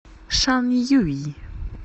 шанъюй